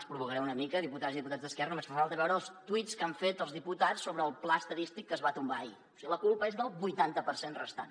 els provocaré una mica diputades i diputats d’esquerra veure els tuits que han fet els diputats sobre el pla estadístic que es va tombar ahir o sigui la culpa és del vuitanta per cent restant